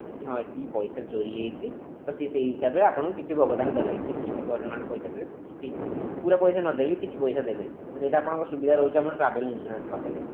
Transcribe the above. କି ହଁ ଏତିକି ପଇସା ଚୋରି ହେଇଛି ତ ସିଏ ସେଇ ସେଇ ହିସାବରେ ଆପଣଙ୍କୁ କିଛି ଭୋକ୍ତାନ କରିବେ କି କିଛି ପରିମାଣ ରେ ପଇସା ଦେବେ କି ପୁରା ପଇସା ନ ଦେଇ ବି କିଛି ଦେବେ ତ ସେଇଟା ଆପଣଙ୍କ ସୁବିଧା ରହୁଛି ଆପଣ travel insurance କରିଦେଲେ